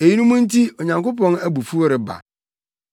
Eyinom nti Onyankopɔn abufuw reba.